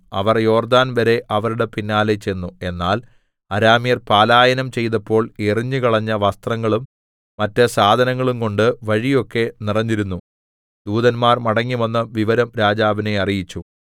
അവർ യോർദ്ദാൻവരെ അവരുടെ പിന്നാലെ ചെന്നു എന്നാൽ അരാമ്യർ പലായനം ചെയ്തപ്പോൾ എറിഞ്ഞുകളഞ്ഞ വസ്ത്രങ്ങളും മറ്റു സാധനങ്ങളുംകൊണ്ട് വഴിയൊക്കെ നിറഞ്ഞിരുന്നു ദൂതന്മാർ മടങ്ങിവന്ന് വിവരം രാജാവിനെ അറിയിച്ചു